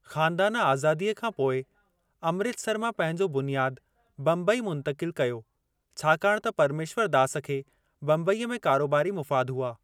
ख़ानदानु आज़ादीअ खां पोइ अमृतसर मां पंहिंजो बुनियादु बम्बई मुंतक़िल कयो छाकाणि त परमेश्वरु दास खे बम्बईअ में कारोबारी मुफ़ाद हुआ।